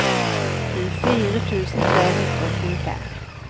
tjuefire tusen tre hundre og tjuefem